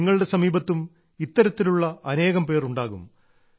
നിങ്ങളുടെ സമീപത്തും ഇത്തരത്തിലുള്ള അനേകം പേർ ഉണ്ടാകും